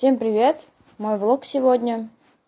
всем привет мой влог сегодня